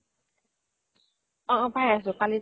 অ অ পাই আছো কালিত